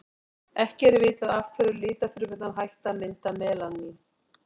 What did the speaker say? ekki er vitað af hverju litfrumurnar hætta að mynda melanín